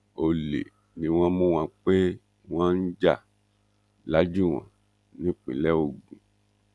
ọlẹ ni wọn mú wọn pé wọn ń jà lajúwọn nípínlẹ ogun